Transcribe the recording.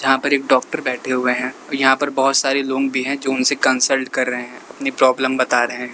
जहां पर एक डॉक्टर बैठे हुए हैं और यहां पर बहोत सारे लोंग भी हैं जो उनसे कंसल्ट कर रहे हैं। अपनी प्रॉब्लम बता रहे हैं।